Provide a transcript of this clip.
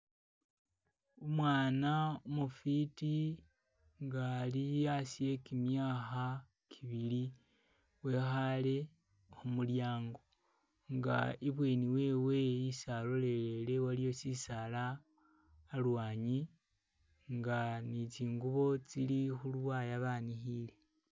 Umwana umufiti nga ali hasi hegimyakha gibili wekhaale khumulyango nga ibweni wewe isi alolelele waliyo chisaala alwanyi nga ni tsingubo tsili khu luwaya banikhile.